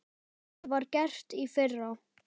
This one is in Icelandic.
Það var gert í fyrra.